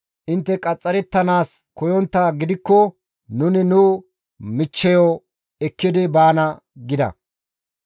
Intte qaxxarettanaas koyonttaa gidikko nuni nu michcheyo ekkidi baana» gida.